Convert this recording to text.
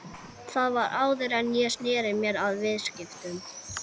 Hreppstjórar höfðu fleiri skyldustörf á herðum sínum en nú er.